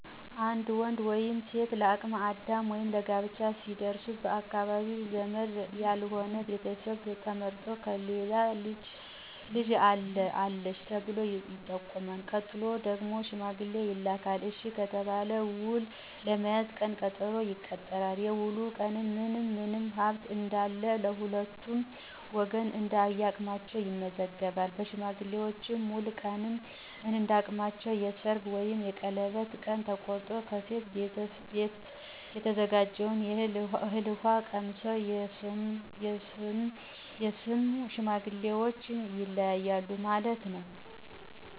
አንድ ወንድ ወይም ሴት ለ አቅመ አዳም ወይም ለጋብቻ ሲደርሱ ባካባቢው ዘመድ ያልሆነ ቤተሰብ ተመርጦ የከሌ ልጅ አለ/አለች ተብሎ ይጠቆማል። ቀጥሎ ደግሞ ሽማገሌ ይላካል፤ እሽ ከተባለ ውል ለመያዝ ቀን ቀጠሮ ይቀጠራል፤ የዉሉ ቀን ምን ምን ሀብት እነዳለ በሁለቱም ወገን እነዳቅማቸዉ ይመዘገባል በሽማግሌዎች፤ በዉሉ ቀንም እንዳቅማቸው የሰርግ ወይም የቀለበት ቀን ተቆርጦ፣ ከሴቷ ቤት የተዘጋጀውን እህል ውሃ ቀምሰው የሧም የሡም ሽማግሌዎች ይለያያሉ ማለት ነው።